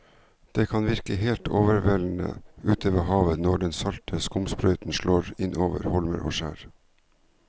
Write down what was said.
Det kan virke helt overveldende ute ved havet når den salte skumsprøyten slår innover holmer og skjær.